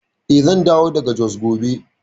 Eh, zan dawo daga Jos gobe.